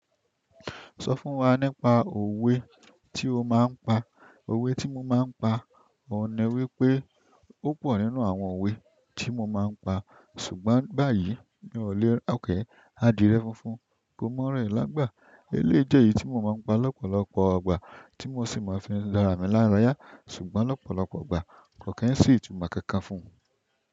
Sọ fún wa nípa òwe ti o ma n pa. Òwe tí mo máa ń pa, ohun ni wípé. Púpọ̀ nínú àwọn òwe tí mo máa ń pa ṣùgbọ́n báyìí mi ò le, adiyẹ funfun, ko mọ ra ẹ lágbà. Eléyi je èyí tí mo máa ń pa lọ́pọ̀lọpọ̀ ìgbà tí mo sì máa fi ń dára mi lára yá ṣùgbọ́n lọ́pọ̀lọpọ̀ ìgbà ko ki n si itumọ kankan fún.